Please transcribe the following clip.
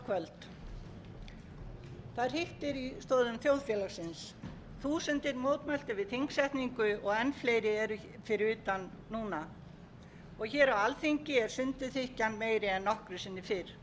í stoðum þjóðfélagsins þúsundir mótmæltu við þingsetningu og enn fleiri eru fyrir utan núna og hér á alþingi er sundurþykkjan meiri en nokkru sinni fyrr